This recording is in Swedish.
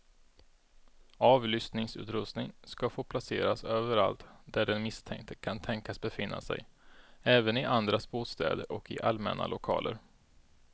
Avlyssningsutrustning ska få placeras överallt där den misstänkte kan tänkas befinna sig, även i andras bostäder och i allmänna lokaler.